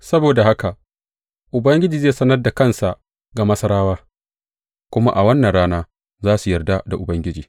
Saboda haka Ubangiji zai sanar da kansa ga Masarawa, kuma a wannan rana za su yarda da Ubangiji.